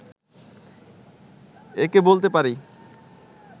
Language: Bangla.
একে বলতে পারি